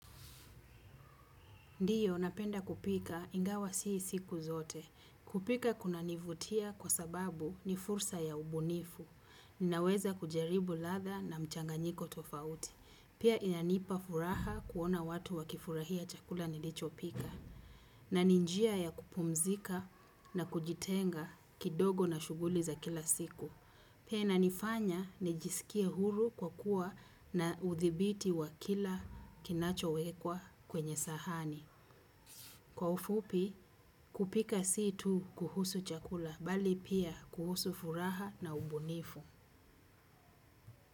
Ndio napenda kupika ingawa si siku zote kupika kunanivutiakwa sababu ni fursa ya ubunifu. Ninaweza kujaribu ladha na mchanganyiko tofauti. Pia inanipa furaha kuona watu wakifurahia chakula nilicho pika. Na ni njia ya kupumzika na kujitenga kidogo na shughuli za kila siku. Pia inanifanya nijisikie huru kwa kuwa na udhibiti wa kila kinacho wekwa kwenye sahani. Kwa ufupi kupika si tu kuhusu chakula bali pia kuhusu furaha na ubunifu.